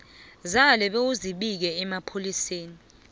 zale bewuzibike emapholiseni